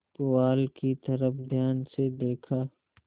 पुआल की तरफ ध्यान से देखा